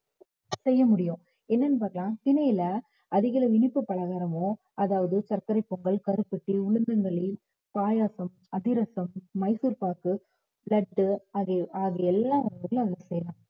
செய்ய முடியும் என்னன்னு பார்த்தா திணையில அதிக அளவு இனிப்பு பலகாரமும், அதாவது சர்க்கரை பொங்கல், கருப்பட்டி, உளுந்தங்களி, பாயாசம், அதிரசம், மைசூர்பாகு, லட்டு ஆகிய ஆகிய எல்லாம் செய்யலாம்